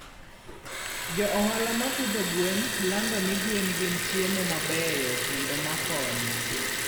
Jo ohala ma pidho gwen lando ni gwen gin chiemo mabeyo kendo ma konyo.